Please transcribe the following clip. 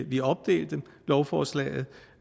vi opdelte lovforslaget